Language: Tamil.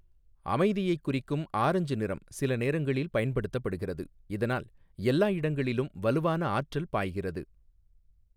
அமைதியைக் குறிக்கும் ஆரஞ்சு நிறம் சில நேரங்களில் பயன்படுத்தப்படுகிறது, இதனால் எல்லா இடங்களிலும் வலுவான ஆற்றல் பாய்கிறது.